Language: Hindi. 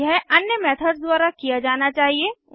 यह अन्य मेथड्स द्वारा किया जाना चाहिए